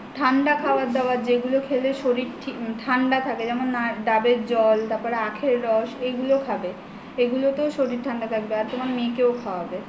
ঠান্ডা খাবার দাবার যেগুলো খেলে শরীর ঠান্ডা থাকে যেমন ডাবের জল আখের রস এগুলো খাবে এগুলো তেও শরীর ঠান্ডা থাকবে আর তোমার মেয়েকেও খাওয়াবে